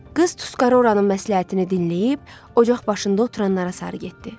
Qız Tusqarı oranın məsləhətini dinləyib, ocaq başında oturanlara sarı getdi.